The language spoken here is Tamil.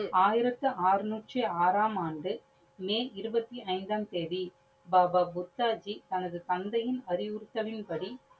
ஆயிரத்தி ஆறநூற்றி ஆறாம் ஆண்டு மே இருபத்தி ஐந்தாம் தேதி பாபா புத்தாஜி தனது தந்தையின் அறிவுறுத்தலின்படி